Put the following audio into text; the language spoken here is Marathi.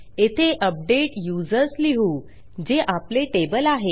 येथे अपडेट यूझर्स लिहू जे आपले टेबल आहे